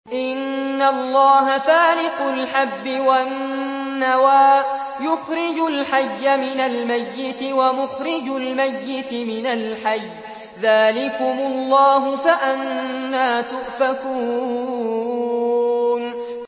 ۞ إِنَّ اللَّهَ فَالِقُ الْحَبِّ وَالنَّوَىٰ ۖ يُخْرِجُ الْحَيَّ مِنَ الْمَيِّتِ وَمُخْرِجُ الْمَيِّتِ مِنَ الْحَيِّ ۚ ذَٰلِكُمُ اللَّهُ ۖ فَأَنَّىٰ تُؤْفَكُونَ